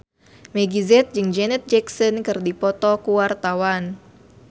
Meggie Z jeung Janet Jackson keur dipoto ku wartawan